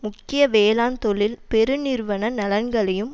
முக்கிய வேளாண் தொழில் பெரு நிறுவன நலன்களையும்